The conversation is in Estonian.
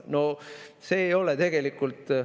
" No see ei ole tegelikult ...